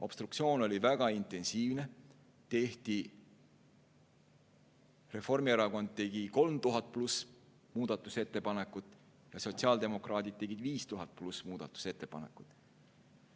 Obstruktsioon oli väga intensiivne, Reformierakond tegi 3000 pluss muudatusettepanekut ja sotsiaaldemokraadid tegid 5000 pluss muudatusettepanekut.